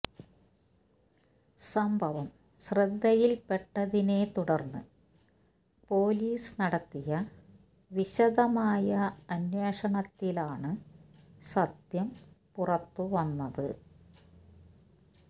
സംഭവം ശ്രദ്ധയില്പെട്ടതിനെ തുടര്ന്ന് പൊലീസ് നടത്തിയ വിശദമായ അന്വേഷണത്തിലാണ് സത്യം പുറത്തുവന്നത്